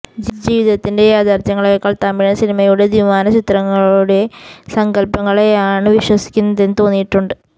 ജീവിതത്തിന്റെ യാഥാർത്ഥ്യങ്ങളെക്കാൾ തമിഴൻ സിനിമയുടെ ദ്വിമാന ചിത്രങ്ങളുടെ സങ്കല്പങ്ങളെയാണ് വിശ്വസിക്കുന്നതെന്ന് തോന്നിയിട്ടുണ്ട്